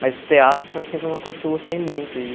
Mas o teatro foi sempre uma coisa que eu gostei muito e